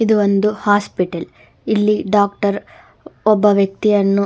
ಇದು ಒಂದು ಹಾಸ್ಪಿಟಲ್ ಇಲ್ಲಿ ಡಾಕ್ಟರ್ ಒಬ್ಬ ವ್ಯಕ್ತಿಯನ್ನು--